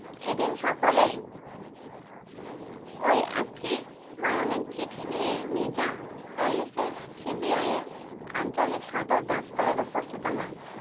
এদিন সকলেই ওই একই বয়ানের চিঠি নিয়ে নিজাম প্যালেসে CBI এর আঞ্চলিক সদর দফতরে উপস্থিত হন।